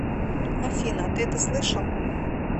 афина ты это слышал